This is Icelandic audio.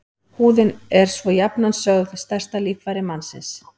Húðin er svo jafnan sögð stærsta líffæri mannsins.